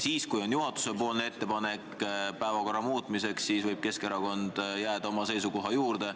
Ja kui on juhatuse ettepanek päevakorra muutmiseks, siis võib Keskerakond jääda oma seisukoha juurde.